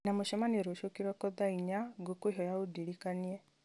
ndĩna mũcemanio rũciũ kĩroko thaa inya ngũkwĩhoya ũndirikanie